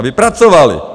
Aby pracovali.